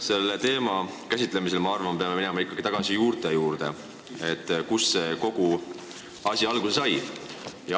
Selle teema käsitlemisel me peame minu arvates minema tagasi juurte juurde, kust kogu see asi alguse sai.